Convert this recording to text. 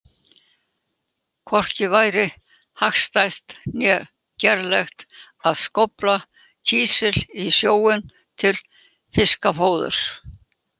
Hvorki væri hagstætt né gerlegt að skófla kísli í sjóinn til fiskafóðurs.